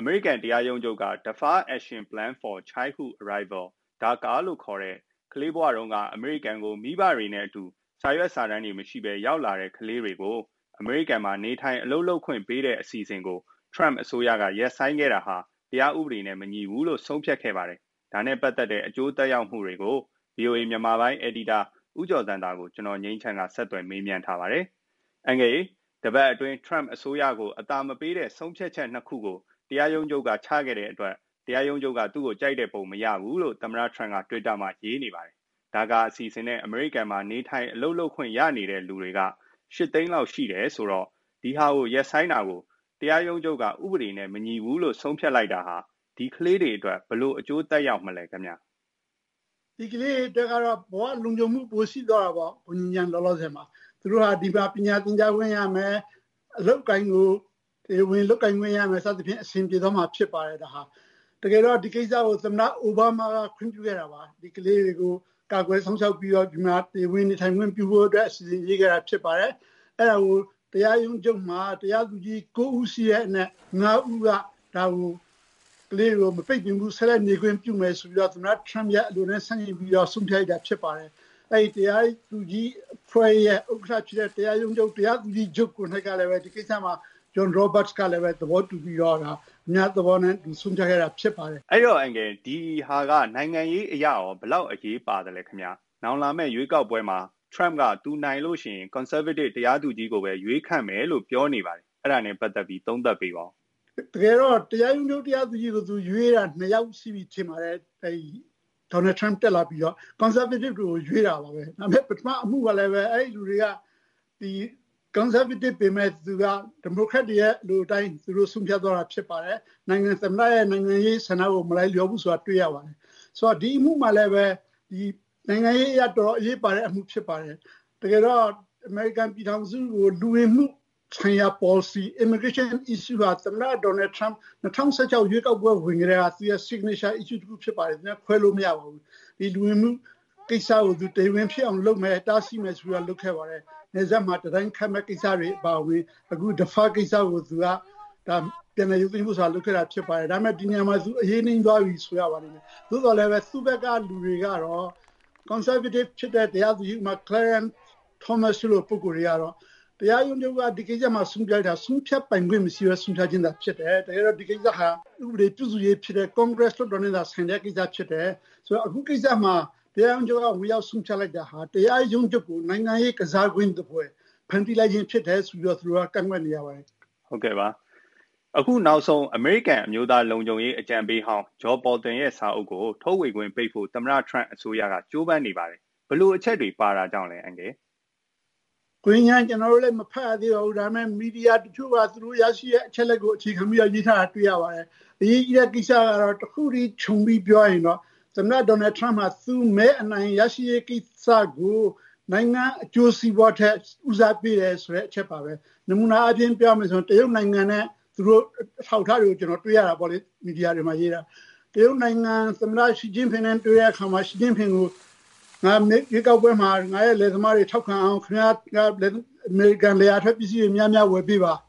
အမေရိကန် တရားရုံးချုပ် က Deferred Action plan for Childhood Arrivals လို့ ခေါ်တဲ့ ကလေးဘဝတုန်းက အမေရိကန် ကို မိဘတွေ နဲ့ အတူ စာရွက်စာတမ်းမရှိပဲရောက်လာတဲ့ ကလေးတွေကို အမေရိကန် မှာနေထိုင် အလုပ်လုပ်ခွင့်ပေးတဲ့ အစီအစဉ် ကို ထရမ့် အစိုးရက ရပ်ဆိုင်းခဲ့တာဟာ တရားဥပဒေ နဲ့ မညီဘူးလို့ဆုံးဖြတ်ခဲ့ပါတယ်။ ဒါနဲ့ ပတ်သက် အကျိုးသက်ရောက်မှု တွေကို ဗွီအိုအေ မြန်မာပိုင်း အယ်ဒီတာ ဦးကျော်ဇံသာကို ကိုငြိမ်းချမ်းက ဆက်သွယ် မေးမြန်းထားပါတယ်။ မေး။ အန်ကယ်ရေ - တပတ်အတွင်း ထရမ့် အစိုးရကို အသာမပေးတဲ့ ဆုံးဖြတ်ချက် ၂ ခုကို တရားရုံးချုပ်က ချခဲ့တဲ့အတွက် တရားရုံးချုပ်က သူ့ကို ကြိုက်တဲ့ပုံမရဘူးလို့ သမ္မတထရမ့်က twitter မှာ ရေးနေပါတယ်။ DACA အစီအစဉ် နဲ့ အမေရိကန် မှာ နေထိုင်လုပ်ကိုင်ခွင့်ရနေတဲ့ လူတွေက ၈ သိန်း လောက်ရှိတယ်ဆိုတော့ ဒီဟာ ရပ်ဆိုင်းတာကို တရားရုံးချုပ် ဥပဒေနဲ့ မညီဘူးလို့ ဆုံးဖြတ်လိုက်တာဟာ ဒီကလေးတွေ အတွက် ဘယ်လို အကျိုးသက်ရောက် မလဲခင်ဗျ။ ဦးကျော်ဇံသာ။ ။ ဒီကလေးတွေအတွက်တော့ ဘ၀ လုံခြုံမှု ပိုရှိသွားတာပေါ့ ။ သူတို့ဟာ ဒီမှာ ပညာသင်ကြားခွင့်ရမယ် အလုပ်အကိုင်ကို တရားဝင်လုပ်ကိုင်ခွင့်ရမယ် စသဖြင့် အဆင်ပြေသွားမှာဖြစ်ပါတယ်။ တကယ်တော့ ဒီကိစ္စကို သမ္မတ အိုဘားမားက ခွင့်ပြုခဲ့တာပါ။ ဒီကလေးတွေကို ကာကွယ်စောင့်ရှောက်ပြီးတော့ ဒီမှာ တရားဝင်နေထိုင်ခွင့်ပြုဖို့အတွက် အစီအစဉ်ရှိခဲ့တာဖြစ်ပါတယ်။ အဲဒါကို တရားရုံးချုပ်မှာ တရားသူကြီး ၉ ဦးရှိတဲ့အနက် ၅ ဦးက ကလေးတွေကို မပိတ်ပင်ဘူး ဆက်ပြီးတော့ နေခွင့်ပြုမယ်ဆိုပြီးတော့ သမ္မတ Trump အလိုနဲ့ ဆန့်ကျင်ပြီး ဆုံးဖြတ်လိုက်တာဖြစ်ပါတယ်။ အဲဒီတရားသူကြီးအဖွဲ့ရဲ့ ဥက္ကဋ္ဌဖြစ်တဲ့ တရားသူကြီးချုပ် ကိုယ်တိုင်ကလည်း John Roberts ကလည်း ဒီကိစ္စမှာ သဘောတူပြီးတော့ အများသဘောနဲ့ ဆုံးဖြတ်ခဲ့တာဖြစ်ပါတယ်။ နိုင်ငံရေး အရဘယ်လောက် အရေးပါလဲ။ နောင်လာမယ့် ရွေးကောက်ပွဲမှာ သူနိုင်ရင် conservative တရားသူကြီးကိုပဲ ရွေးခန့်မယ်လို့လည်း ပြောနေတယ်။ အဲ့ဒါ နဲ့ ပတ်သက်ပြီး သုံးသပ်ပေးပါဦး။ ဦးကျော်ဇံသာ။ ။ တကယ်တော့ တရားရုံးချုပ် တရားသူကြီးကို သူရွေးတာက ၂ ယောက်ရှိပါပြီ။ Donald Trump တက်လာပြီးတော့ conservative တွေကိုရွေးတာပါပဲ ဒါပေမယ့် အဲဒီလူတွေကလည်း conservative ပေမယ့် ဒီမိုကရက်တွေရဲ့ အလိုအတိုင်း သူတို့ ဆုံးဖြတ်သွား တာဖြစ်ပါတယ် ။ သမ္မတရဲ့ နိုင်ငံရေးဆန္ဒကို မလိုက်လျောတာ တွေ့ရပါတယ်။ ဆိုတော့ ဒီအမှုမှာလည်း နိုင်ငံရေးအရ တော်တော် အရေးပါတဲ့ အမှုဖြစ်ပါတယ်။ တကယ်တော့ အမေရိကန်ပြည်ထောင်စုကို လူဝင်မှုဆိုင်ရာ ပေါ်လစီ immigration issue ဟာ သမ္မတ Donald Trump 2016 ရွေးကောက်ပွဲ ဝင်ခဲ့တုန်းက သူ့ရဲ့ Signature issue တခုဖြစ်ပါတယ် ခွဲလို့မရဘူး ။ ဒီလူဝင်မှု ကိစ္စကို တရားဝင်ဖြစ်အောင်လုပ်မယ် တားဆီးမယ်ဆိုတာ လုပ်ခဲ့ပါတယ်။ နယ်စပ်မှာ တံတိုင်းခတ်မယ့်ကိစ္စတွေအပါအဝင် Deferred ဖြစ်မယ့်ကိစ္စတွေ ဒါပေမယ့် ဒီနေရာမှာ သူပြန်လည်ရုပ်သိမ်းဖို့ လုပ်ခဲ့တာဖြစ်ပါတယ်။ ဒါပေမယ့် ဒီနေရာမှာ သူအရေးနိမ့်သွားပြီလို့ ဆိုရပါမယ်။ သို့သော်လည်း သူ့ဘက်ကလူတွေက conservative တရားသူကြီးက Clarence Thomas တို့ကတော့ တရားရုံးချုပ်မှာ ဒီကိစ္စ ဆုံးဖြတ်တာ ဆုံးဖြတ်ပိုင်ခွင့်မရှိပဲ ဆုံးဖြတ်တာဖြစ်တယ် တကယ်တော့ ဒီကိစ္စဟာ ဥပဒေပြုရေးဖြစ်တဲ့ congress လွှတ်တော်နဲ့ ဆိုင်တဲ့ကိစ္စဖြစ်တယ် ဆိုတော့ အခုကိစ္စမှာ တရားရုံးချုပ်က ဝင်ရောက်ဆုံးဖြတ်တာဟာ တရားရုံးချုပ်ကို နိုင်ငံရေး ကစားကွင်းသဖွယ် ဖန်တီးလိုက်ချင်ဖြစ်တယ်ဆိုပြီးတော့ ကန့်ကွက်နေပါတယ်။ မေး။ အခုနောက်ဆုံး အမေရိကန် အမျိုးသားလုံခြုံရေး အကြံပေးဟောင်း John Bolton ရဲ့ စာအုပ် ကို ထုတ်ဝေခွင့် ပိတ်ဖို့ သမ္မတ ထရမ့် အစိုးရ က ကြိုးပမ်းနေပါတယ်။ ဘယ်လို အချက်တွေ ပါတာကြောင့်လဲ။ ဦးကျော်ဇံသာ။ ။ ကျနော်တို့လည်း မဖတ်ရသေးပါဘူး ဒါပေမယ့် မီဒီယာတချို့က သူတို့ ရရှိတဲ့အချက်အလက်တချို့ကို အခြေခံပြီးတော့ ရေးထားတာ တွေ့ရပါတယ်။ အရေးကြီးတဲ့ ကိစ္စကတော့ တခုတည်း ခြုံပြီးပြောရရင်တော့ သမ္မတ ထရမ့် က သူ မဲအနိုင်ရရှိရေး ကိစ္စကို နိုင်ငံအကျိုးစီးပွားထက် ဦးစားပေးတယ်ဆိုတဲ့ အချက်ပါပဲ ။ နမူနာအားဖြင့်ပြောရမယ်ဆိုရင်တော့ တရုတ်နိုင်ငံနဲ့ အထောက်အထားတွေ ကျနော်တို့ တွေ့ရတာပေါ့နော် မီဒီယာမှာရေးတာ။ တရုတ်သမ္မတ Xi Jinping နဲ့ တွေ့တဲ့အခါမှာ တရုတ်သမ္မတ Xi Jinping ကို “ ငါရွေးကောက်ပွဲမှာ ငါ့ လယ်သမားတွေ ထောက်ခံအောင် ခင်ဗျားလယ်ယာထွက်ပစ္စည်းတွေ များများဝယ်ပေးပါ။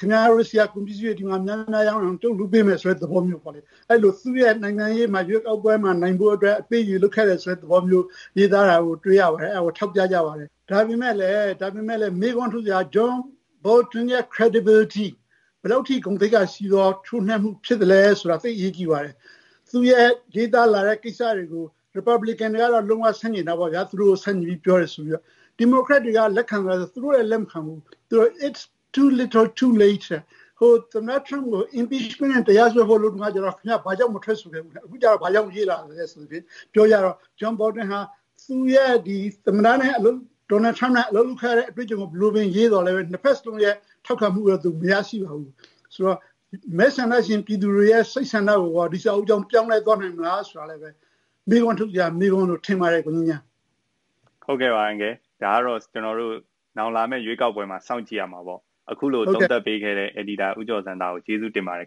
ခင်ဗျားတို့ဆီက ကုန်ပစ္စည်းတွေ ဒီမှာများများရောင်းအောင် လုပ်ပေးမယ်” ဆိုတဲ့ သဘောမျိုးပေါ့လေ အဲဒီလို သူက နိုင်ငံရေးမှာ ရွေးကောက်ပွဲမှာ နိုင်ဖို့အတွက် အပေးအယူ လုပ်ခဲ့တယ်ဆိုတဲ့ သဘောမျိုး ရေးသားတာကို တွေ့ရပါတယ် အဲဒါကို ထောက်ပြပါတယ်။ ဒါပေမယ့် မေးခွန်းထုတ်စရာက John Bolton ရဲ့ Credibility ဘယ်လောက်ထိရှိသလဲဆိုတာဖြစ်ပါတယ်။ သူ့ရဲ့ ရေးသားလာတဲ့ ကိစ္စတွေကို Republican တွေကတော့ လုံး၀ ဆန့်ကျင်တာပေါ့ဗျာ ၊ သူတို့ကို ဆန့်ကျင်ပြောတယ်ဆိုပြီးတော့ ၊ နောက် ဒီမိုကရက်တွေကလည်း လက်ခံသလားဆိုတော့ သူတို့လည်း လက်မခံဘူး “It's little too late” တဲ့ သမ္မတ Trump ကို impeachment နဲ့ တရားစွဲဖို့လုပ်တုန်းကတော့ ခင်ဗျား ဘာကြောင့်မထွက်ဆိုခဲ့သလဲ ၊ အခုကျတော့ ဘာကြောင့်ရေးလာသလဲ ပြောကြတော့ John Bolton ဟာ သမ္မတ Trump နဲ့ အလုပ်လုပ်ခဲ့တဲ့ သူ့အတွေ့အကြုံကို ဘယ်လိုပဲရေးသော်လည်း နှစ်ဖက် စလုံးရဲ့ ထောက်ခံမှုကို သူမရရှိပါဘူး။ ဆိုတော့ မဲဆန္ဒရှင်ပြည်သူတွေရဲ့ စိတ်ဆန္ဒကိုရော ဒီစာအုပ်ကြောင့် ပြောင်းလဲသွားနိုင်မလားဆိုတာလည်း မေးခွန်းထုတ်စရာ ဖြစ်ပါတယ်။ မေး။ ။ ဟုတ်ကဲ့ ဒါကတော့ လာမယ့် ရွေးကောက်ပွဲမှာ စောင့်ကြည့်ရမှာပေါ့ ။ အခုလို သုံးသပ်ပေးခဲ့တဲ့ ဦးကျော်ဇံသာကို ကျေးဇူးတင်ပါတယ်